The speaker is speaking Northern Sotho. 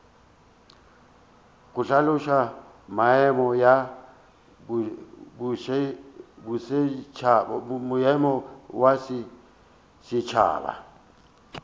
go hlaloša maemo ya bosetšhaba